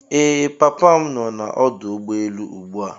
Ee papa m no na ọdụ ụgbọelu ugbua.